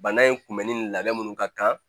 Bana in kunbɛnni labɛn minnu ka kan